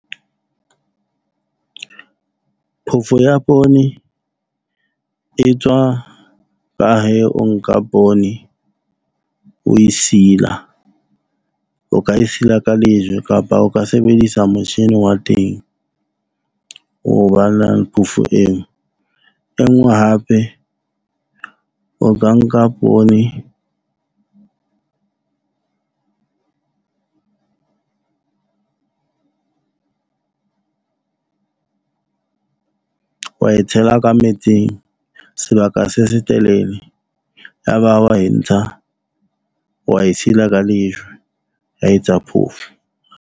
Phofo ya poone e tswa , o nka poone o e sila, o ka e sila ka lejwe kapa o ka sebedisa motjhini wa teng o ba nang phofo eo. E nngwe hape o ka nka poone wa e tshela ka metsing, sebaka se setelele ya ba wa e ntsha wa e sila ka lejwe wa etsa phofo.